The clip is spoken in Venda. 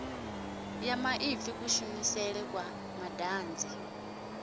ya maipfi kushumisele kwa madanzi